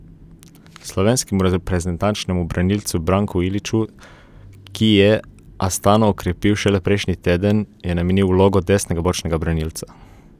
Slovenskemu reprezentančnemu branilcu Branku Iliću, ki je Astano okrepil šele prejšnji teden, je namenil vlogo desnega bočnega branilca.